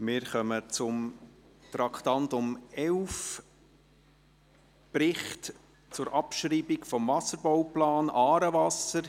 Wir kommen zum Traktandum 11, Bericht zur Abschreibung des Wasserbauplans «Aarewasser».